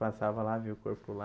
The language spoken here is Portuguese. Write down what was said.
Passava lá, via o corpo lá.